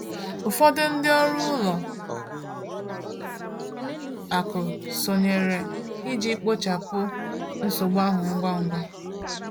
Ụfọdụ ndị ọrụ ụlọ akụ sonyere iji kpochapụ nsogbu ahụ ngwa ngwa.